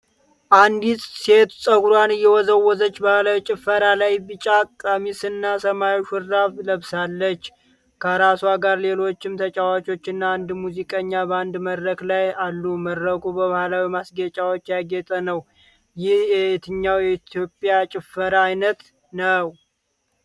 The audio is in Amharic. አንዲት ሴት ፀጉሯን እየወዘወዘች ባህላዊ ጭፈራ ላይ። ቢጫ ቀሚስና ሰማያዊ ሹራብ ለብሳለች። ከእርሷ ጋር ሌሎችም ተጫዋቾችና አንድ ሙዚቀኛ በአንድ መድረክ ላይ አሉ። መድረኩ በባህላዊ ማስጌጫዎች ያጌጠ ነው። ይህ የትኛው የኢትዮጵያ ጭፈራ ዓይነት ነው?